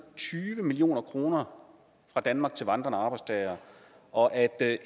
tyve million kroner fra danmark til vandrende arbejdstagere og at